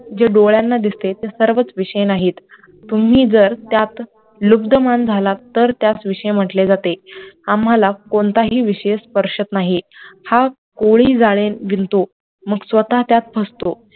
जे डोळ्यांना दिसते ते सर्वच विषय नाहीत, तुम्ही जर त्यात लुब्धमान झालात तर त्यास विषय म्हंटले जाते आम्हाला कोणताही विषय स्पर्शत नाही, हा कोळी जाळे विणतो मग स्वतः त्यात फसतो